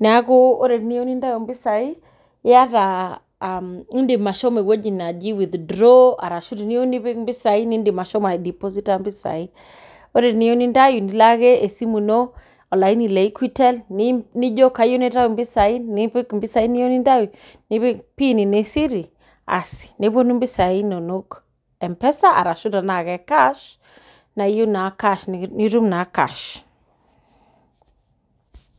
neeku teniyieu nintau mpesai nilo ewueji najii withdraw ashu edim sii ashomo aidiposita nilo ake esimu eno olaini lee equitel nipik mpisai nipik pin eno ee Siri aas nepuonu mpisai enono mpesa ashu tenaa cash nitum naa cash